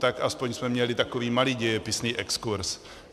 Tak aspoň jsme měli takový malý dějepisný exkurz.